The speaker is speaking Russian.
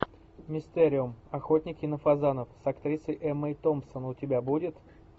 мистериум охотники на фазанов с актрисой эммой томпсон у тебя будет